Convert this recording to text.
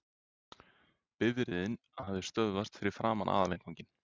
Bifreiðin hafði stöðvast fyrir framan aðalinnganginn.